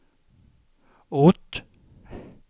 ort